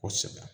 Kosɛbɛ